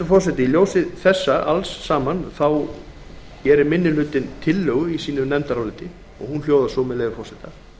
forseti í ljósi alls þessa gerir minni hlutinn tillögu í sínu nefndaráliti hún hljóðar svo með leyfi forseta